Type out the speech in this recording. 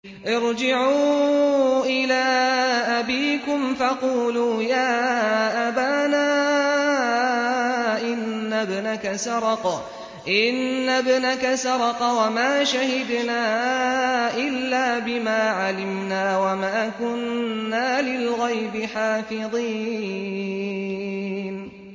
ارْجِعُوا إِلَىٰ أَبِيكُمْ فَقُولُوا يَا أَبَانَا إِنَّ ابْنَكَ سَرَقَ وَمَا شَهِدْنَا إِلَّا بِمَا عَلِمْنَا وَمَا كُنَّا لِلْغَيْبِ حَافِظِينَ